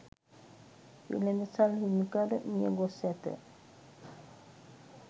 වෙළෙඳසල් හිමිකරු මියගොස් ඇත